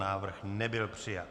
Návrh nebyl přijat.